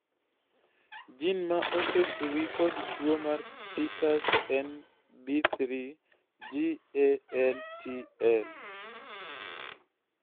jin ma osethuwi kod tuo mar Peters en B3GALTL